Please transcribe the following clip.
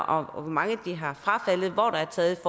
om hvor mange de har frafaldet hvor der er taget